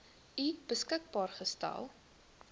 u beskikbaar gestel